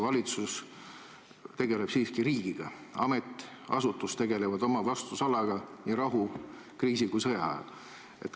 Valitsus tegeleb siiski riigiga, ametiasutused tegelevad oma vastutusalaga nii rahu, kriisi kui ka sõja ajal.